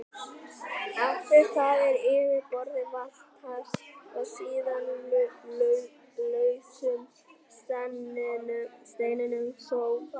Eftir það er yfirborðið valtað og síðan lausum steinum sópað burt.